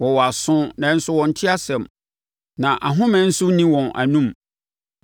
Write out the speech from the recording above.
wɔwɔ aso, nanso wɔnte asɛm, na ahomeɛ nso nni wɔn anom.